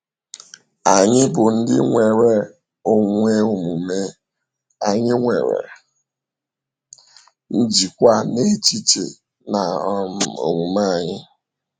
Anyị bụ ndị nwere onwe omume, anyị nwere njikwa n’echiche na um omume anyị.